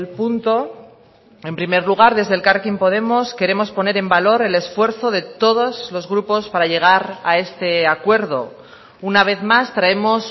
punto en primer lugar desde elkarrekin podemos queremos poner en valor el esfuerzo de todos los grupos para llegar a este acuerdo una vez más traemos